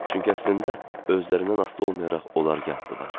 Çünki əslində özlərindən asılı olmayaraq onlar yatdılar.